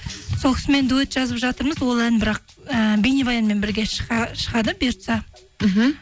сол кісімен дуэт жазып жатырмыз ол ән бірақ ііі бейнебаянмен бірге шығады бұйыртса мхм